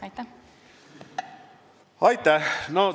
Aitäh!